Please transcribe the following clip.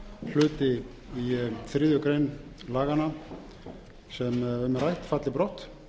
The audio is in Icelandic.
hluti í þriðju grein laganna sem um er rætt falli brott